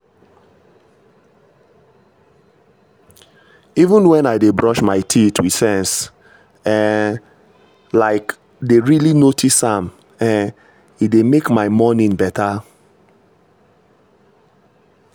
even when i dey brush my teeth with sense um like dey really notice am — um e dey make my my morning better.